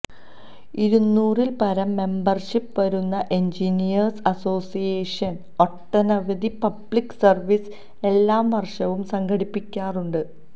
ഇരുന്നൂറിൽ പരം മെമ്പർഷിപ് വരുന്ന എൻജിനീയേഴ്സ് അസ്സോസിയേഷൻ ഒട്ടനവധി പബ്ലിക് സർവീസ് എല്ലാ വർഷവും സംഘടിപ്പിക്കാറുണ്ട്